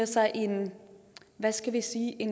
sig en hvad skal vi sige